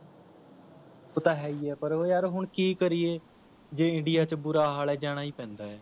ਉਹ ਤਾ ਹੈ ਹੀ ਹੈ ਪਰ ਉਹ ਯਾਰ ਹੁਣ ਕੀ ਕਰੀਏ ਜੇ india ਚ ਬੁਰਾ ਹਾਲ ਹੈ ਜਾਣਾ ਹੀ ਪੈਂਦਾ ਹੈ